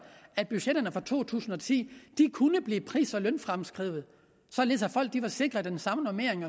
at budgetterne for to tusind og ti kunne blive pris og lønfremskrevet således at folk var sikret den samme normering